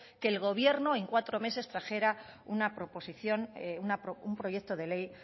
que el gobierno en cuatro meses trajera una proposición un proyecto de ley